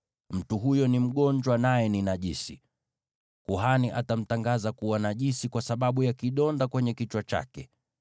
mtu huyo ni mgonjwa, na ni najisi. Kuhani atamtangaza kuwa najisi kwa sababu ya kidonda kwenye kichwa chake.